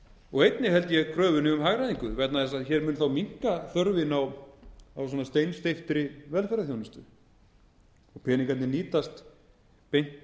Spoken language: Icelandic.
og einnig held ég kröfunni um hagræðingu vegna þess að hér mun þá minnka þörfin á steinsteyptri velferðarþjónustu og peningarnir